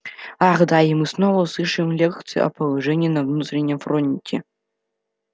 ах да и мы снова услышим лекцию о положении на внутреннем фронте